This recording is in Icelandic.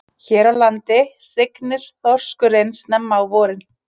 Hér á landi hrygnir þorskurinn snemma á vorin.